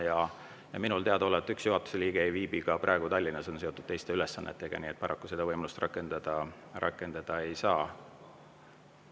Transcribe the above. Ja minule teadaolevalt üks juhatuse liige ei viibi praegu Tallinnas, on seotud teiste ülesannetega, nii et paraku seda võimalust rakendada ei saa.